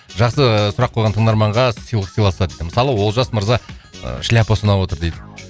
жақсы сұрақ қойған тыңдарманға сыйлық сыйласа дейді мысалы олжас мырза ы шляпасы ұнап отыр дейді